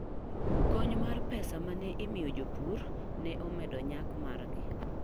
Kony mar pesa ma ne imiyo jopur ne omedo nyak margi.